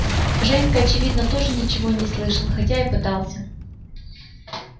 женька очевидно тоже ничего не слышал хотя и пытался